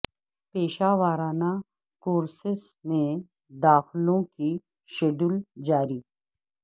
پیشہ ورا نہ کو ر سس میں داخلو ں کی شیڈ و ل جا ری